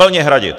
Plně hradit.